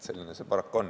Selline see paraku on.